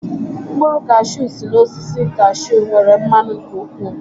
Mkpụrụ kashew si n'osisi kashew nwere mmanụ nke ụkwụ